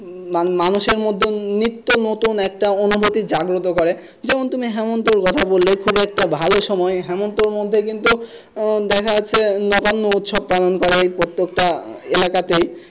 মা~মানুষের মধ্যে নিত্য নতুন একটা অনুমতি জাগ্রত করে যেমন তুমি হেমন্তর কথা বললে খুবই একটা ভালো সময় হেমন্তের মধ্যে কিন্তু উম দেখা যাচ্ছে নানা উৎসব পালন করে প্রত্যেকটা এলাকাতেই।